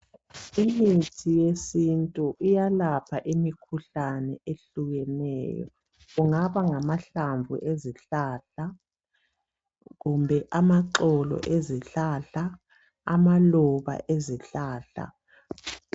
Imithi yesintu iyalapha imikhuhlane ehlukeneyo. Kungaba ngamahlamvu ezihlahla kumbe amaxolo ezihlahla amaluba ezihlahla.